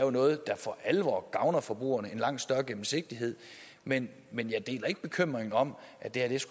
er noget der for alvor gavner forbrugerne med en langt større gennemsigtighed men men jeg deler ikke bekymringen om at det